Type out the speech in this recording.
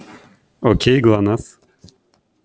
окей гланаф